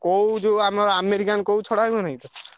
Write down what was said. କଉ ଯୋଉ ଆମର American କଉ ଛଡା ହୁଏନି?